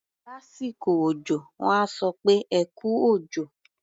Lásìkò òjọ, wọ́n á sọ pé "ẹ kú òjò".